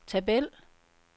tabel